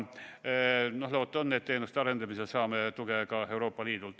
Loota on, et teenuste arendamisel saame tuge ka Euroopa Liidult.